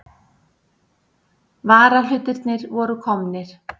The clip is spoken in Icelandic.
Varahlutirnir voru komnir.